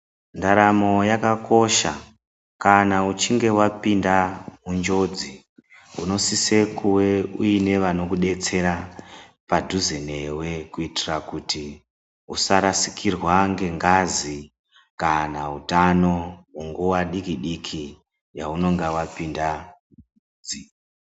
Ndaramo yakakosha kana uchinge wapinda munjodzi unosise kuva uine vanokudetsera padhuze newe kuitira kuti usarasikirwa nengazi kana hutano munguva diki diki yaunenge wapinda kunjodzi